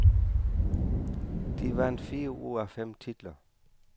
De vandt fire ud af fem titler.